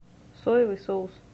соевый соус